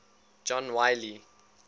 john wiley